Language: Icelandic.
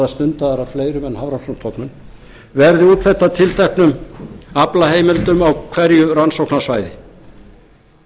af fleirum en hafrannsóknastofnun verði úthlutað tilteknum aflaheimildum á hverju rannsóknarsvæði